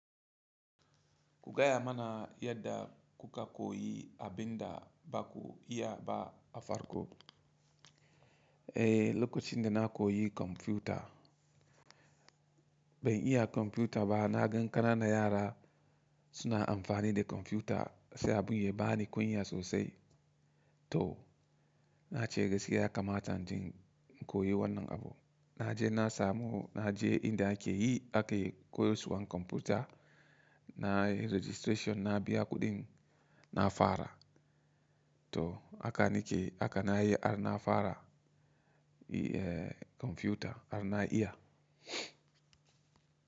Ku gaya mana yadda kuka koyi abin da baku iya ba a farko? Eh, lokacin da na koyi kwamfuta, ban iya kwamfuta ba. Na gan kana nan yara suna amfani da kwamfuta sai abun ya bani kunya sosai to na ce gaskiya yakamata inje in koyi wannan abu. Na je na samu, na je inda ake yi ake koyusuwan kwamfuta na yi registration na biya kuɗin na fara to haka ni ke haka na yi har na fara kwamfuta har na iya.